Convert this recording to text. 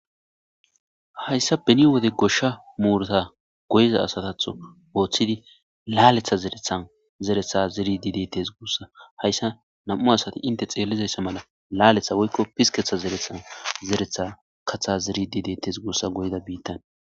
Hayssa beni wode goshsha muurata goyza asatatho ooththidi laaletha zerethan zeretha zeridi dettes guussa. Hayssa nam7u asati inte xeellizayssa mala laaletha woykko pisketha zerethan zeretha katha zeridi dettes gussa goyda biittan.